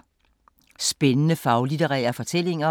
Spændende faglitterære fortællinger